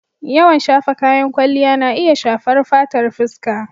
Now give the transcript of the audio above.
Yawan shafa kayan kwalliya na iya shafar fatar fuska.